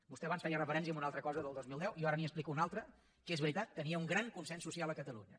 vostè abans feia referència a una altra cosa del dos mil deu i jo ara li n’explico una altra que és veritat tenia un gran consens social a catalunya